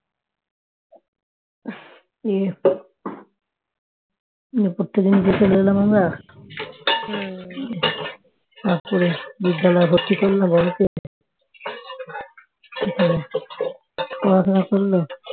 উপর থেকে নিচে চলে এলাম আমরা তারপরে বিদ্যালয়ে ভর্তি করলো তারপর পড়াশোনা করলো